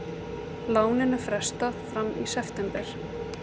Láninu frestað fram í september